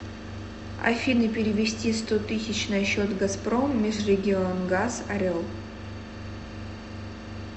афина перевести сто тысяч на счет газпром межрегионгаз орел